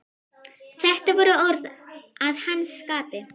Þetta voru orð að hans skapi.